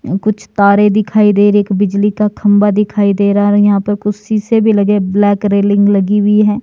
कुछ तारे दिखाई दे रही हैं एक बिजली का खंभा दिखाई दे रहा और यहां पर कुछ शीशे भी लगे ब्लैक रेलिंग लगी हुई है।